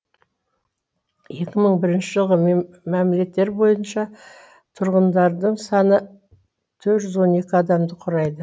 екі мың бірінші жылғы мәліметтер бойынша тұрғындарының саны төрт жүз он екі адамды құрайды